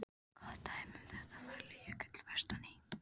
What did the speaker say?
Gott dæmi um þetta er Falljökull vestan í